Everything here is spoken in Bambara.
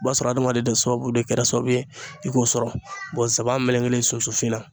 O b'a sɔrɔ adamaden sababu de kɛra sababu ye i k'o sɔrɔ saba melekelen susufin na